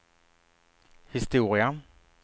historia